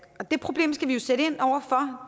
og det problem skal vi sætte ind over for